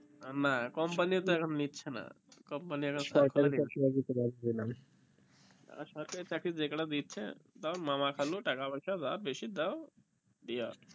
না company ও তো এখন নিচ্ছে না সরকারি চাকরি যে কয়টা দিচ্ছে মামা খালো টাকা পয়সা দাও বেশি দাও দিয়ে